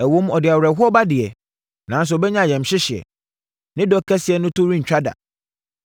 Ɛwom, ɔde awerɛhoɔ ba deɛ, nanso ɔbɛnya ayamhyehyeɛ. Ne dɔ kɛseɛ no to rentwa da.